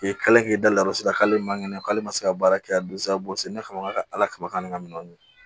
kɛlen da rɔ sera k'ale man kɛnɛ k'ale ma se ka baara kɛ ka dosa bɔ sen ne fɛ ka ala kaba ni ka minɛnw dun